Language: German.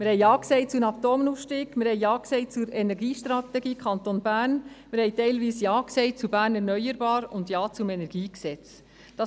Wir haben Ja gesagt zum Atomausstieg, wir haben Ja gesagt zur Energiestrategie des Kantons Bern, wir haben teilweise Ja gesagt zu «Bern erneuerbar» und haben Ja gesagt zum KEnG.